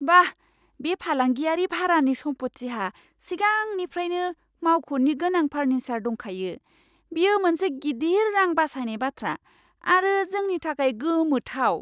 बाह! बे फालांगियारि भारानि सम्पथिहा सिगांनिफ्रायनो मावख'नि गोनां फार्निसार दंखायो, बेयो मोनसे गिदिर रां बासायनाय बाथ्रा आरो जोंनि थाखाय गोमोथाव!